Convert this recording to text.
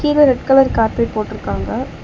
கீழ red colour carpet போட்ருகாங்க.